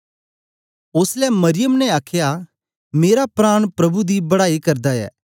ओसलै मरियम ने आखया मेरा प्राण प्रभु दी बड़ाई करदा ऐ